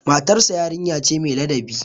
Matarsa yarinya ce mai ladabi.